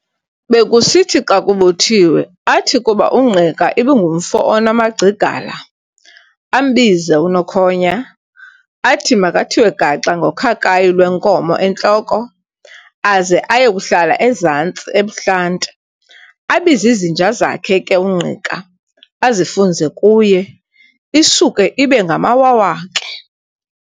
Bekusithi xa kubuthiwe, athi kuba uNgqika ibingumfo onamagcigala, ambize u-Nokhonya, athi makathiwe gaxa ngokhakhayi lwenkomo entloko, aze aye kuhlala ezantsi ebuhlanti, abiz'izinja zakhe ke uNgqika, azifunze kuye, isuke ibe ngamawawa ke!